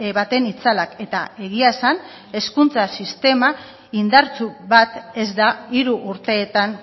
baten itzalak eta egia esan hezkuntza sistema indartsu bat ez da hiru urteetan